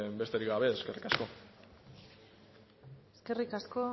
besterik gabe eskerrik asko eskerrik asko